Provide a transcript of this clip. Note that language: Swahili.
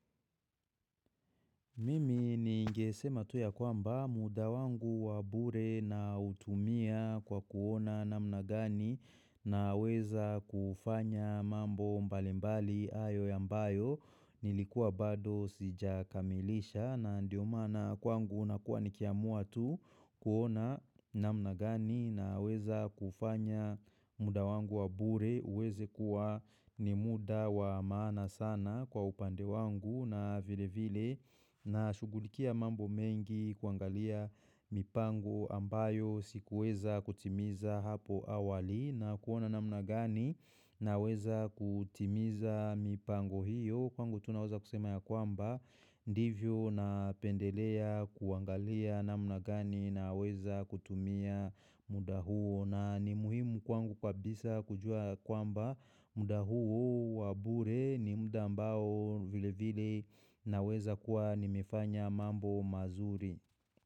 Mimi ningesema tu ya kwamba muda wangu wa bure nautumia kwa kuona namna gani naweza kufanya mambo mbali mbali hayo ambayo Nilikuwa bado sijakamilisha na ndio maana kwangu unakua nikiamua tu kuona namna gani naweza kufanya muda wangu wa bure uweze kuwa ni muda wa maana sana kwa upande wangu na vile vile nashugulikia mambo mengi kuangalia mipango ambayo sikuweza kutimiza hapo awali na kuona namna gani naweza kutimiza mipango hiyo kwangu tu naweza kusema ya kwamba ndivyo napendelea kuangalia namna gani naweza kutumia muda huo na ni muhimu kwangu kabisa kujua kwamba muda huu wa bure ni muda ambao vile vile naweza kuwa nimefanya mambo mazuri.